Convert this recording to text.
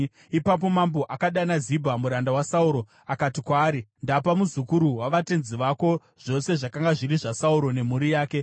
Ipapo mambo akadana Zibha, muranda waSauro, akati kwaari, “Ndapa muzukuru wavatenzi vako zvose zvakanga zviri zvaSauro nemhuri yake.